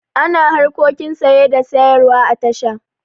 Ana harkokin saye da sayarwa a tasha.